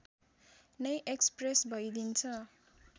नै एक्सप्रेस भइदिन्छ